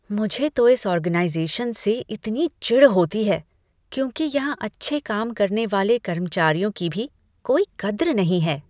मुझे तो इस ऑर्गेनाइज़ेशन से इतनी चिढ़ होती है, क्योंकि यहां अच्छे काम करने वाले कर्मचारियों की भी कोई कद्र नहीं है।